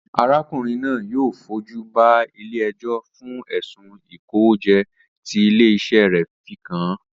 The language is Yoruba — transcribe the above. Arákùnrin náà yóò fojú ba ilé ẹjọ́ fún ẹ̀sùn ìkówójẹ tí ilé-iṣẹ́ rẹ̀ fi kàn án